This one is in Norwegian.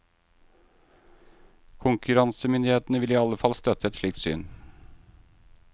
Konkurransemyndighetene vil i alle fall støtte et slikt syn.